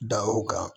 Da o kan